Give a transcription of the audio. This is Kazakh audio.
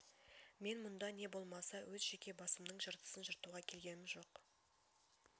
мен мұнда не болмаса өз жеке басымның жыртысын жыртуға келгемін жоқ